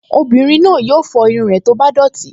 Obìnrin náà yóò fọ irun rẹ̀ tó bá dọ̀tí